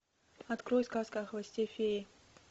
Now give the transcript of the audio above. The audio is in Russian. открой сказка о хвосте феи